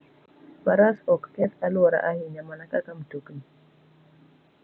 Faras ok keth alwora ahinya mana kaka mtokni.